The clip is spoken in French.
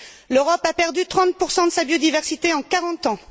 L'Europe a perdu 30 de sa biodiversité en quarante ans.